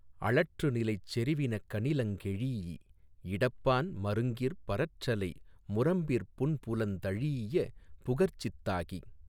அளற்றுநிலைச் செறிவினகனிலங் கெழீஇ இடப்பான் மருங்கிற் பரற்றலை முரம்பிற் புன்புலந் தழீஈய புகற்சித் தாகி